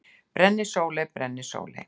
Brennisóley: Brennisóley.